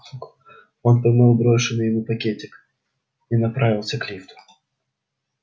он поймал брошенный ему пакетик и направился к лифту